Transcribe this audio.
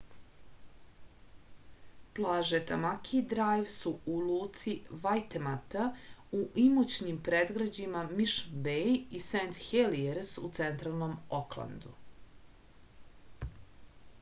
plaže tamaki drajv su u luci vajtemata u imućnim predgrađima mišn bej i sent helijers u centralnom oklandu